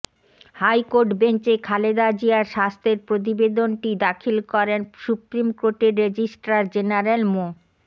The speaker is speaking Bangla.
হাইকোর্ট বেঞ্চে খালেদা জিয়ার স্বাস্থ্যের প্রতিবেদনটি দাখিল করেন সুপ্রিম কোর্টের রেজিস্ট্রার জেনারেল মো